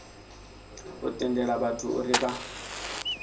u tendela vhathu uri vha